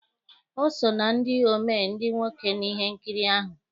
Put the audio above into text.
O so na ndị omee ndị nwoke na ihe nkiri ahụ